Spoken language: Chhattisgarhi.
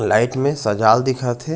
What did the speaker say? लाइट में सजायल दिखत हे।